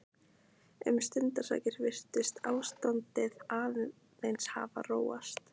Um stundarsakir virtist ástandið aðeins hafa róast.